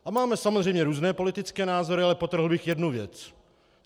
A máme samozřejmě různé politické názory, ale podtrhl bych jednu věc.